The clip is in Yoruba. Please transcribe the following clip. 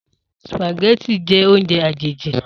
Spaghetti jẹ́ oúnjẹ àjèjì